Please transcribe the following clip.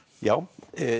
já